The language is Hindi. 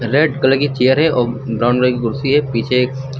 रेड कलर की चेयर है और ब्राउन कलर की कुर्सी है पीछे।